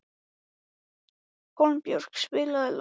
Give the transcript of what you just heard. Hólmbjörg, spilaðu lag.